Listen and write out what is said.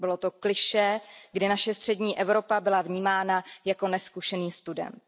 Bylo to klišé, kdy naše střední Evropa byla vnímána jako nezkušený student.